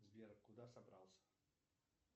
сбер куда собрался